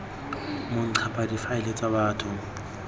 mo ncpa difaele tsa batho